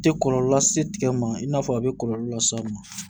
Tɛ kɔlɔlɔ lase tigɛ ma i n'a fɔ a bɛ kɔlɔlɔ las'a ma